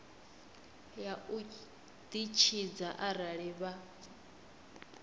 ya u ditshidza arali vha